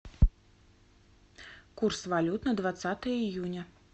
курс валют на двадцатое июня